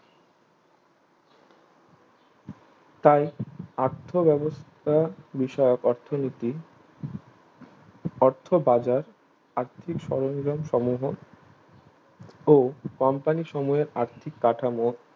তাই আর্থ ব্যবস্থা বিষয়ক অর্থনীতি অর্থ বাজার আর্থিক সরন্জাম সমূহ ও কোম্পানি সমূহে আর্থিক কাঠামো